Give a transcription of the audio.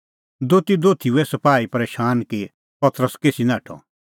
दोती दोथी हुऐ सपाही परशैन कि पतरस केसी नाठअ